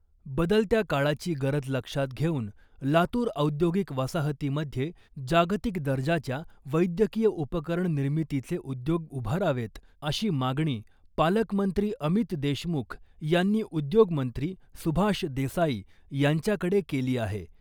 बदलत्या काळाची गरज लक्षात घेऊन लातूर औद्योगिक वसाहतीमध्ये जागतिक दर्जाच्या वैद्यकीय उपकरण निर्मितीचे उद्योग उभारावेत , अशी मागणी पालकमंत्री अमित देशमुख यांनी उद्योग मंत्री सुभाष देसाई यांच्याकडे केली आहे .